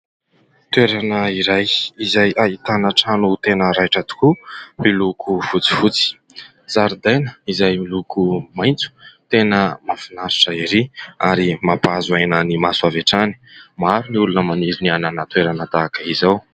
Toerana iray izay ahitana trano tena raitra tokoa miloko fotsy fotsy, zaridaina izay miloko maintso tena mahafinaritra erỳ ary mampahazo aina ny maso avy hatrany, maro ny olona maniry ny hanana toerana tahaka izao.